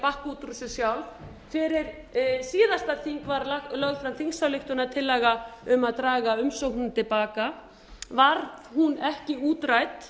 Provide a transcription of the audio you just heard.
að bakka út úr þessu sjálf fyrir síðasta þing var lögð fram þingsályktunartillaga um að draga umsóknina til baka varð hún ekki útrædd